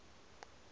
ka ya nga ri ya